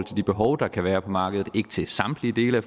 de behov der kan være på markedet ikke til samtlige dele af